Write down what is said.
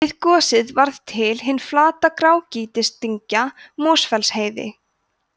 við gosið varð til hin flata grágrýtisdyngja mosfellsheiði